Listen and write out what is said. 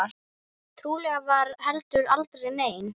Trúlega var heldur aldrei nein.